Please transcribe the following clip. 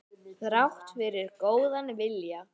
Þrátt fyrir góðan vilja.